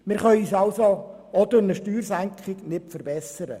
Wir können uns durch eine Steuersenkung nicht verbessern.